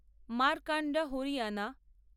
Markanda Haryana